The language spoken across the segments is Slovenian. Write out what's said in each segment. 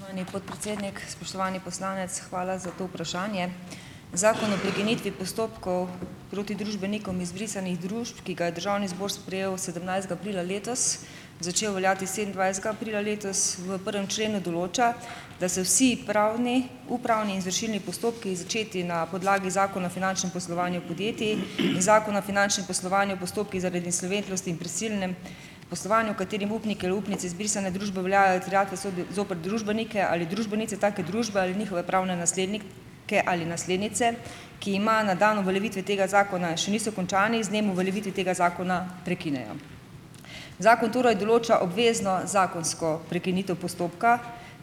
Spoštovani podpredsednik, spoštovani poslanec, hvala za to vprašanje. Zakon o prekinitvi postopkov proti družbenikom izbrisanih družb, ki ga je Državni zbor sprejel sedemnajstega aprila letos, začel veljati sedemindvajsetega aprila letos, v prvem členu določa, da se vsi pravni upravni izvršilni postopki, začeti na podlagi Zakona o finančnem poslovanju podjetij in Zakon o finančnem poslovanju postopku zaradi insolventnosti in prisilnem poslovanju, v katerem upniki ali upnice izbrisane družbe veljajo terjatve, sodijo zoper družbenike ali družbenice take družbe ali njihove pravne nasledni ke ali naslednice, ki ima na dan uveljavitve tega zakona, še niso končani z dnem uveljavitve tega zakona, prekinejo. Zakon torej določa obvezno zakonsko prekinitev postopka,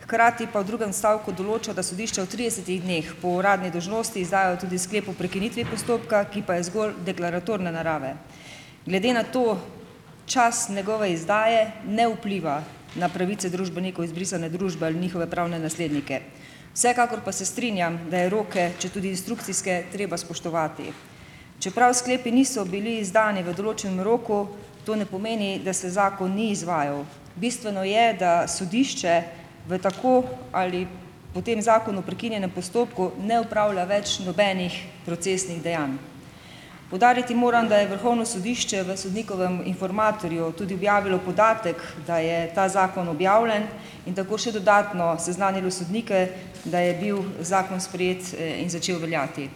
hkrati pa v drugem stavku določa, da sodišče v tridesetih dneh po uradni dolžnosti izdajo tudi sklep o prekinitvi postopka, ki pa je zgolj deklaratorne narave. Glede na to čas njegove izdaje ne vpliva na pravice družbeniku izbrisane družbe ali njihove pravne naslednike, vsekakor pa se strinjam, da je roke, četudi instrukcijske, treba spoštovati. Čeprav sklepi niso bili izdani v določenem roku, to ne pomeni, da se zakon ni izvajal. Bistveno je, da sodišče v tako ali po tem zakonu prekinjenem postopku ne opravlja več nobenih procesnih dejanj. Poudariti moram, da je Vrhovno sodišče v Sodnikovem informatorju tudi objavilo podatek, da je ta zakon objavljen, in tako še dodatno seznanilo sodnike, da je bil zakon sprejet in začel veljati.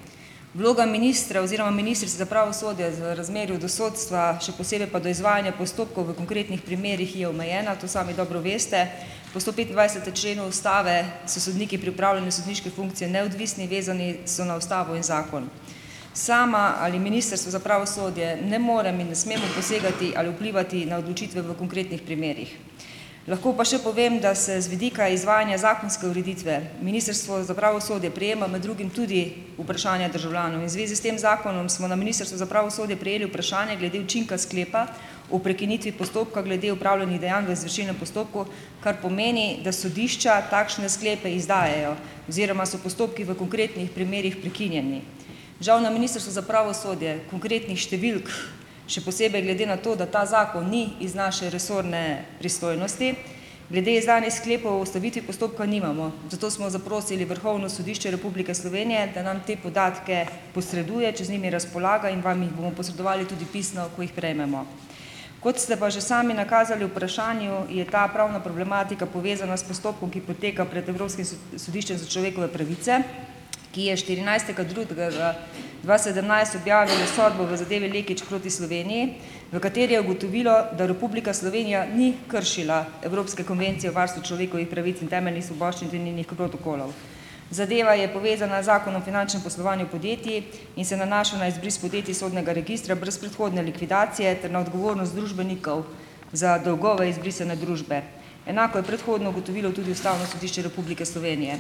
Vloga ministra oziroma ministrice za pravosodje v razmerju do sodstva, še posebej pa do izvajanja postopkov v konkretnih primerih, je omejena, to sami dobro veste. Po stopetindvajsetem členu ustave so sodniki pripravljeni sodniške funkcije neodvisni, vezani so na ustavo in zakon. Sama ali Ministrstvo za pravosodje ne morem in ne smemo posegati ali vplivati na odločitve v konkretnih primerih. Lahko pa še povem, da se z vidika izvajanja zakonske ureditve, Ministrstvo za pravosodje prejema med drugim tudi vprašanja državljanov in v zvezi s tem zakonom smo na Ministrstvu za pravosodje prejeli vprašanje glede učinka sklepa o prekinitvi postopka glede opravljenih dejanj v izvršilnem postopku, kar pomeni, da sodišča takšne sklepe izdajajo oziroma so postopki v konkretnih primerih prekinjeni. Žal na Ministrstvu za pravosodje konkretnih številk, še posebej glede na to, da ta zakon ni iz naše resorne pristojnosti, glede izdanih sklepov o ustavitvi postopka nimamo, zato smo zaprosili Vrhovno sodišče Republike Slovenije, da nam te podatke posreduje, če z njimi razpolaga, in vam jim bomo posredovali tudi pisno, ko jih prejmemo. Kot ste pa že sami nakazali vprašanju, je ta pravna problematika povezana s postopkom, ki poteka pred evropskim sodiščem za človekove pravice, ki je štirinajstega drugega dva sedemnajst objavilo sodbo v zadevi Lekić proti Sloveniji, v kateri je ugotovilo, da Republika Slovenija ni kršila Evropske konvencije o varstvu človekovih pravic in temeljnih svoboščin ter njenih protokolov. Zadeva je povezana z Zakonom o finančnem poslovanju podjetij in se nanaša na izbris podjetij iz sodnega registra brez predhodne likvidacije ter na odgovornost družbenikov za dolgove izbrisane družbe. Enako je predhodno ugotovilo tudi Ustavno sodišče Republike Slovenije.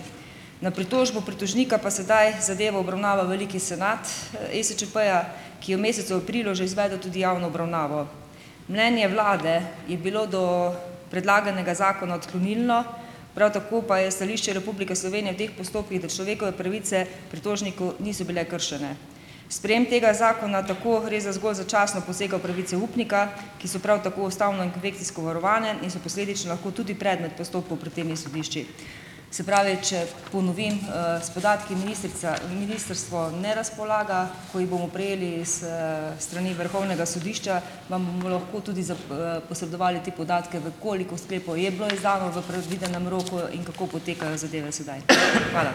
Na pritožbo pritožnika pa sedaj zadevo obravnava veliki senat ESčP-ja, ki je v mesecu aprilu že izvedel tudi javno obravnavo. Mnenje vlade je bilo do predlaganega zakona odklonilno, prav tako pa je stališče Republike Slovenije v teh postopkih, da človekove pravice pritožniku niso bile kršene. Sprejem tega zakona tako gre za zgolj začasno posega v pravice upnika, ki so prav tako ustavno in pofekcijsko varovane in so posledično lahko tudi predmet postopkov pred temi sodišči. Se pravi, če ponovim, s podatki ministrica ministrstvo ne razpolaga. Ko jih bomo prejeli s strani Vrhovnega sodišča, vam bomo lahko tudi posredovali te podatke, v kolikor sklepov je bilo izdano v predvidenem roko in kako potekajo zadeve sedaj. Hvala.